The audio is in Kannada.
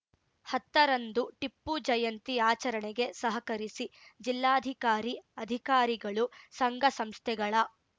ಹತ್ತರಂದು ಟಿಪ್ಪು ಜಯಂತಿ ಆಚರಣೆಗೆ ಸಹಕರಿಸಿ ಜಿಲ್ಲಾಧಿಕಾರಿ ಅಧಿಕಾರಿಗಳು ಸಂಘಸಂಸ್ಥೆಗಳ